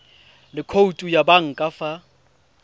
le khoutu ya banka fa